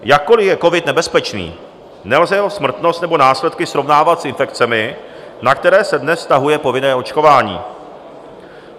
Jakkoliv je covid nebezpečný, nelze jeho smrtnost nebo následky srovnávat s infekcemi, na které se dnes vztahuje povinné očkování.